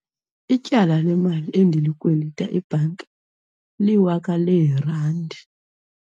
Ityala lemali endilikwelita ibhanki liwaka leerandi.